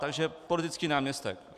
Takže politický náměstek.